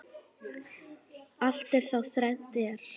Allt er þá þrennt er.